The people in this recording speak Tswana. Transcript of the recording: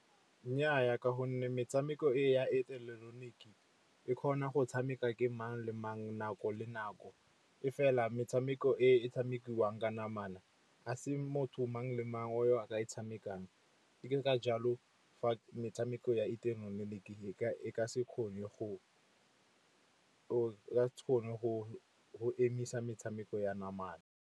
Nnyaa ka gonne metshameko e ya ileketeroniki e kgona go tshameka ke mang le mang, nako le nako. E fela metshameko e tshamekiwang ka namana a se motho mang-mang o a ka e tshamekang. Ke ka jalo fa metshameko ya ileketeroniki e ka se kgone go emisa metshameko ya namana.